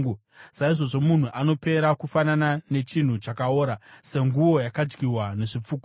“Saizvozvo munhu anopera kufanana nechinhu chakaora, senguo yakadyiwa nezvipfukuto.